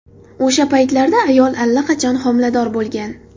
O‘sha paytlarda ayol allaqachon homilador bo‘lgan.